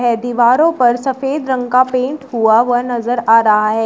दीवारों पर सफेद रंग का पेंट हुआ हुआ नजर आ रहा है।